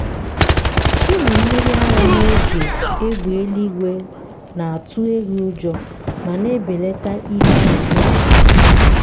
ịmị mmiri ara n’oge égbè eluigwe na-atụ ehi ụjọ ma na-ebelata ihe ọ na-amịpụta.